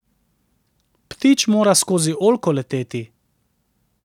Ptič mora skozi oljko leteti.